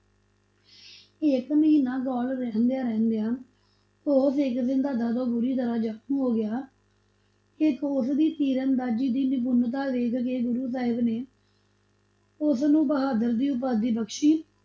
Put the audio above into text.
ਇਕ ਮਹੀਨਾ ਕੋਲ ਰਹਿੰਦਿਆ ਰਹਿੰਦਿਆ ਉਹ ਸਿੱਖ ਸਿਧਾਂਤਾ ਤੋਂ ਪੂਰੀ ਜਾਣੂ ਹੋ ਗਿਆ ਇੱਕ ਉਸ ਦੀ ਤੀਰ ਅੰਦਾਜੀ ਦੀ ਨਿਪੁਨਤਾ ਵੇਖ ਕੇ ਗੁਰੂ ਸਾਹਿਬ ਨੇ ਉਸ ਨੂੰ ਬਹਾਦਰ ਦੀ ਉਪਾਧੀ ਬਖਸ਼ੀ,